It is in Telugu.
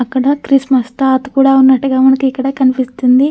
అక్కడ క్రిస్మస్ తాత కూడా ఉన్నట్టుగా మనకి ఇక్కడ కనిపిస్తుంది.